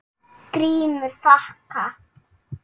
GRÍMUR: Þakka.